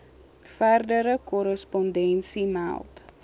verdere korrespondensie meld